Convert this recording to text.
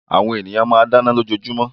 Àwọn ènìyàn máa ń dáná lójoojúmọ́